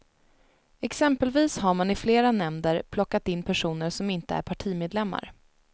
Exempelvis har man i flera nämnder plockat in personer som inte är partimedlemmar.